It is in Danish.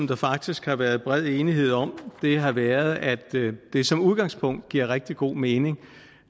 der faktisk har været bred enighed om har været at det som udgangspunkt giver rigtig god mening